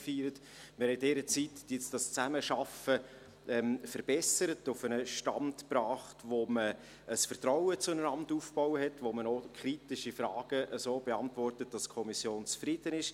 In dieser Zeit haben wir die Zusammenarbeit verbessert und auf einen Stand gebracht, sodass man ein Vertrauen zueinander aufgebaut hat und kritische Frage so beantwortet, dass die Kommission zufrieden ist.